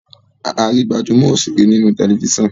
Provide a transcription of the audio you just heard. a rí gbajúmò òṣèré ní inú Tẹlifísàn.